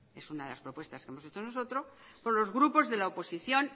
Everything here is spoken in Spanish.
es una de las propuestas que hemos hecho nosotros con los grupos de la oposición